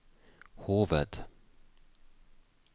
hoved